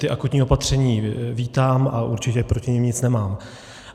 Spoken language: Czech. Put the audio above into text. Ta akutní opatření vítám a určitě proti nim nic nemám.